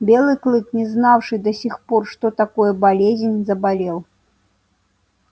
белый клык не знавший до сих пор что такое болезнь заболел